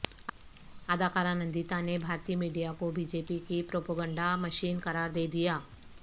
اداکارہ نندیتا نے بھارتی میڈیا کو بی جے پی کی پروپیگنڈا مشین قرار دیدیا